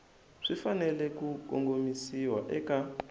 swi fanele ku kongomisiwa eka